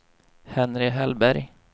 Henry Hellberg